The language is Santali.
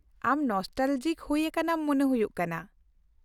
ᱟᱢ ᱱᱚᱥᱴᱟᱞᱚᱡᱤᱠ ᱦᱩᱭ ᱟᱠᱟᱱᱟᱢ ᱢᱚᱱᱮ ᱦᱩᱭᱩᱜ ᱠᱟᱱᱟ ᱾